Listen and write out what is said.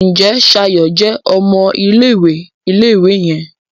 Njé Shayo jé ọmọ ilé-ìwé ilé-ìwé yen?